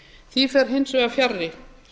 því fer hins vegar fjarri